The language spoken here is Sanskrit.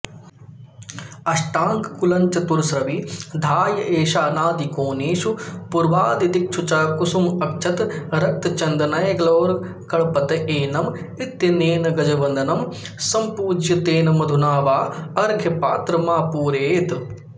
अष्टाङ्गुलञ्चतुरस्रविधाय ऐशानादिकोणेषु पूर्वादिदिक्षु च कुसुमाक्षतरक्तचन्दनैर्ग्लौगणपतयेनम इत्यनेन गजवदनं सम्पूज्य तेन मधुना वा अर्घ्यपात्रमापूरयेत्